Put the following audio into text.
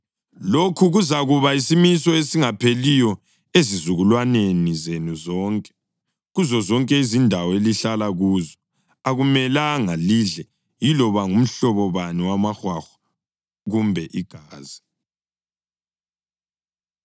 Lokhu kuzakuba yisimiso esingapheliyo ezizukulwaneni zenu zonke, kuzozonke izindawo elihlala kuzo. Akumelanga lidle yiloba ngumhlobo bani wamahwahwa kumbe igazi.’ ”